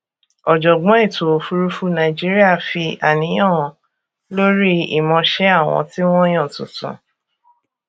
ọjọgbọn ètòòfùrúfú nàìjíríà fi àníyàn hàn lórí ìmọṣẹ àwọn tí wọn yàn tuntun